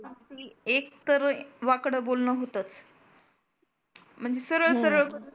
एक तर वाकड बोलनं होतच. म्हणजे सरळ सरळ